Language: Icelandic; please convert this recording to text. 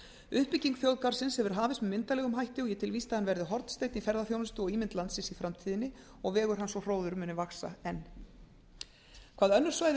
uppbygging þjóðgarðsins hefur hafist með myndarlegum hætti og ég tel víst að hann verði hornsteinn í ferðaþjónustu og ímynd landsins í framtíðinni og vegur hans og hróður muni vaxa enn hvað önnur svæði